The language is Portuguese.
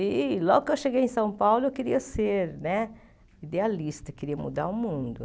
E logo que eu cheguei em São Paulo eu queria ser né idealista, queria mudar o mundo.